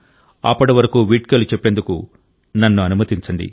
అప్పటి వరకు వీడ్కోలు చెప్పేందుకు నన్ను అనుమతించండి